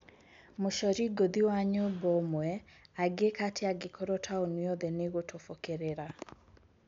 Mũcori ngũthi wa nyũmba ũmwe angĩka atĩa angĩkorwo taũni yothe nĩ gũtobokerera ?